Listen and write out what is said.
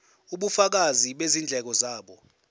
ubufakazi bezindleko zabo